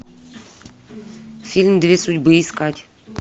фильм две судьбы искать